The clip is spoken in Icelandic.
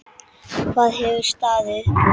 Hvað hefur staðið upp úr?